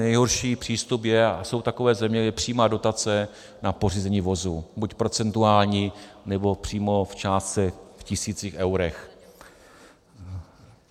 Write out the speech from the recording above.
Nejhorší přístup je - a jsou takové země - přímá dotace na pořízení vozu, buď procentuální, nebo přímo v částce, v tisících eurech.